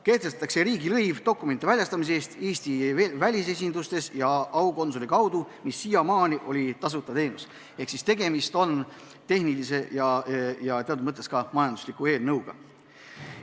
Kehtestatakse riigilõiv dokumentide väljastamise eest Eesti välisesindustes ja aukonsuli kaudu, mis siiamaani on olnud tasuta teenus, ehk tegemist on tehnilise ja teatud mõttes ka majandusliku eelnõuga.